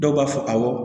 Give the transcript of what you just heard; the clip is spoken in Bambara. Dɔw b'a fɔ awɔ